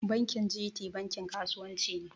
Bankin G.T bankin kasuwan ci ne